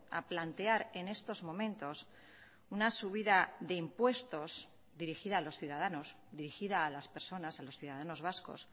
a plantear en estos momentos una subida de impuestos dirigida a los ciudadanos dirigida a las personas a los ciudadanos vascos